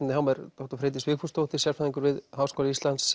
hjá mér Freydís Vigfúsdóttir sérfræðingur við Háskóla Íslands